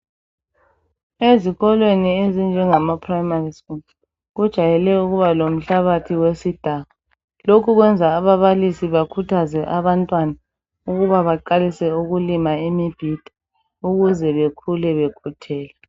Ezikolweni ezinjengama primary school. Kujayele ukuba lomhlabathi wesidaka ,lokhu kwenza ababalisi bakhuthaze abantwana ukuba baqalise ukulima imibhida ukuze bekhule bekhuthele.